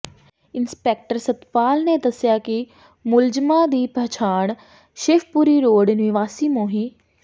inspector Satpal ਨੇ ਦੱਸਿਆ ਕਿ ਮੁਲਜ਼ਮਾਂ ਦੀ ਪਛਾਣ ਸ਼ਿਵਪੁਰੀ ਰੋਡ ਨਿਵਾਸੀ ਮੋਹਿ